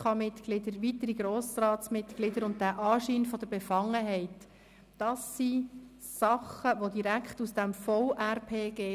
Die Ausstandspflicht für die GPK-Mitglieder sowie für Grossratsmitglieder und das Thema «Anschein der Befangenheit» sind Dinge, die direkt aus dem VRPG stammen.